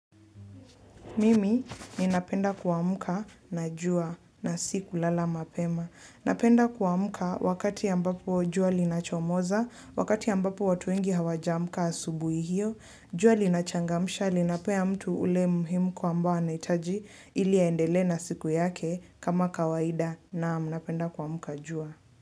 Mimi ninapenda kuamka na jua na si kulala mapema. Napenda kuamka wakati ambapo jua linachomoza, wakati ambapo watu wengi hawajaamka asubuhi hio, jua linachangamsha, linapea mtu ule muhemko ambao anahitaji ili aendelee na siku yake kama kawaida naam napenda kuamka jua.